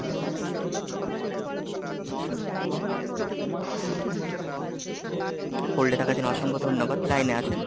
hold এ থাকার জন্য অসংখ্য ধন্যবাদ, লাইনে আছেন?